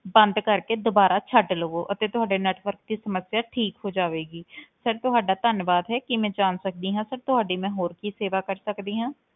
ਬੰਦ ਕਰਕੇ ਦੁਬਾਰਾ ਛੱਡ ਲਵੋ ਅਤੇ ਤੁਹਾਡੇ network ਦੀ ਸਮੱਸਿਆ ਠੀਕ ਹੋ ਜਾਵੇਗੀ sir ਤੁਹਾਡਾ ਧੰਨਵਾਦ ਹੈ, ਕੀ ਮੈਂ ਜਾਣ ਸਕਦੀ ਹਾਂ sir ਤੁਹਾਡੀ ਮੈਂ ਹੋਰ ਕੀ ਸੇਵਾ ਕਰ ਸਕਦੀ ਹਾਂ?